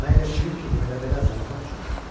Mən elə bildim ki, bu elə belə zarafat üçündür.